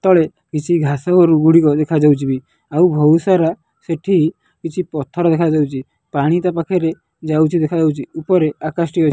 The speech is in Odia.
ତଳେ କିଛି ଘାସ ଗୋରୁ ଗୁଡିକ ଦେଖାଯାଉଛି ବି ଆଉ ବହୁତ ସାରା ସେଠି କିଛି ପଥର ଦେଖାଯାଉଛି ପାଣି ତା ପାଖରେ ଯାଉଛି ଦେଖାଯାଉଛି ଉପରେ ଆକାଶଟି --